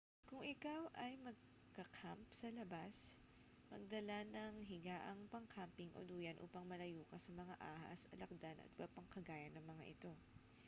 kung ikaw ay magka-camp sa labas magdala ng higaang pang-camping o duyan upang malayo ka sa mga ahas alakdan at iba pang kagaya ng mga ito